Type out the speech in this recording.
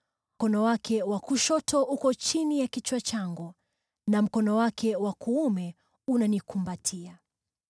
Mkono wake wa kushoto uko chini ya kichwa changu, na mkono wake wa kuume unanikumbatia.